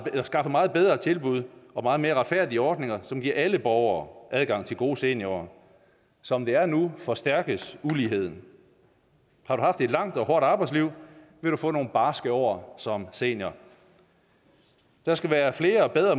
skaffe meget bedre tilbud og meget mere retfærdige ordninger som giver alle borgere adgang til gode seniorår som det er nu forstærkes uligheden har du haft et langt og hårdt arbejdsliv vil du få nogle barske år som senior der skal være flere og bedre